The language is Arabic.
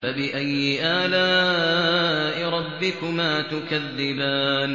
فَبِأَيِّ آلَاءِ رَبِّكُمَا تُكَذِّبَانِ